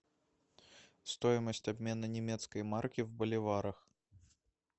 стоимость обмена немецкой марки в боливарах